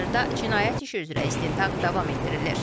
Hazırda cinayət işi üzrə istintaq davam etdirilir.